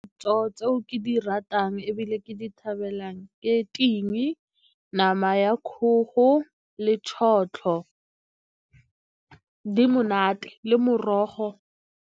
Ditso tse o ke di ratang ebile ke di thabelang ke ting, nama ya kgogo le tšhotlho. Di monate le morogo.